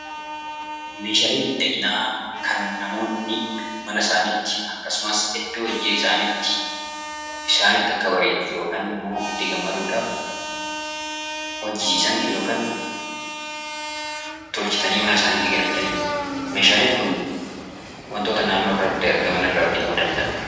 Meeshaaleen miidhaginaa kan namoonni mana isaaniitti yookaan iddoo hojii isaaniitti, isaanitti akka bareeduuf yookaan immoo itti gammaduu dhaaf hojjechiisan yookaan tolchatanii mana isaaniitti galfatani dha. Meeshaaleen kun wantoota naannoo irratti argaman irraa hojjetamuu danda'a.